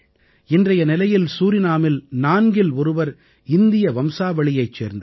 இன்றைய நிலையில் சூரினாமில் நான்கில் ஒருவர் இந்திய வம்சாவளியைச் சேர்ந்தவர்